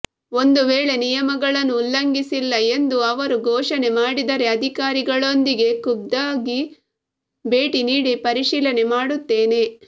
ಒಂದು ವೇಳೆ ನಿಯಮಗಳನ್ನು ಉಲ್ಲಂಘಿಸಿಲ್ಲ ಎಂದು ಅವರು ಘೋಷಣೆ ಮಾಡಿದರೆ ಅಧಿಕಾರಿಗಳೊಂದಿಗೆ ಖುದ್ದಾಗಿ ಭೇಟಿ ನೀಡಿ ಪರಿಶೀಲನೆ ಮಾಡುತ್ತೇನೆ